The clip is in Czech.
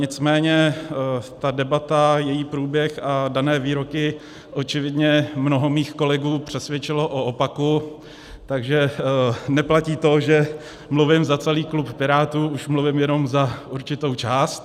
Nicméně ta debata, její průběh a dané výroky očividně mnoho mých kolegů přesvědčily o opaku, takže neplatí to, že mluvím za celý klub Pirátů, už mluvím jenom za určitou část.